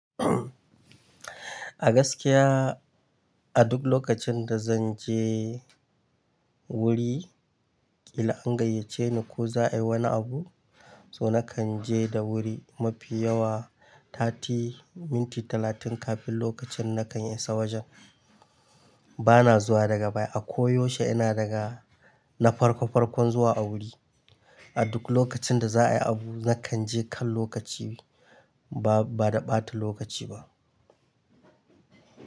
A gaskiya a duk lokacin da zan je wuri, idan an gayyace ni ko za a yi wani abu, so na kan je da wuri mafi yawa tati, minti talatin kafin lokacin na kan isa wajen. Bana zuwa daga baya. A koyaushe ina daga na farko farkon zuwa a wuri. A duk lokacin da za a yi abu na kan je kan lokaci ba, ba da ɓata lokaci ba.